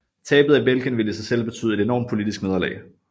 Tabet af Belgien ville i sig selv betyde et enormt politisk nederlag